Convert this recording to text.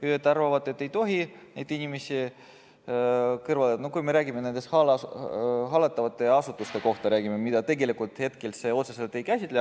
Ühed arvavad, et ei tohi neid inimesi kõrvale jätta, kui me räägime nendest hallatavatest asutustest, mida hetkel see eelnõu otseselt ei käsitle.